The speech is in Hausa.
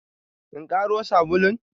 In karo sabulun?